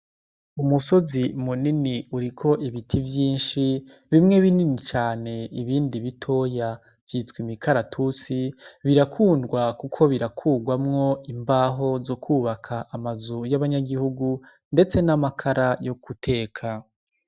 Umusozi munini uriko ibiti vyinshi, bimwe binini cane, ibindi bitoya, vyitwa imikaratusi. Birakundwa kuko birakurwamwo imbaho zo kwubaka amazu y'abanyagihugu ndetse n'amakara yo guteka.